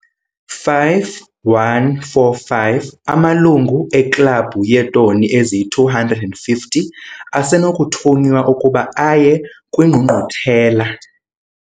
5145 Amalungu eKlabhu yeeToni eziyi-250 asenokuthunywa ukuba aye kwiNgqungquthela.